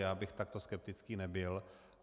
Já bych takto skeptický nebyl.